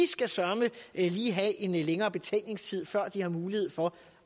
skal søreme lige have en længere betænkningstid før de har mulighed for